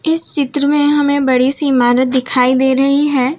इस चित्र में हमें बड़ी सी इमारत दिखाई दे रही है।